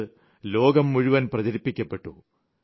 ഇത് ലോകം മുഴുവനും പ്രചരിപ്പിക്കപ്പെട്ടു